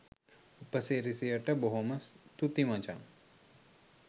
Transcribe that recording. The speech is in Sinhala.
උපසිරැසියට බොහොම තුති මචන්